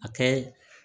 A kɛ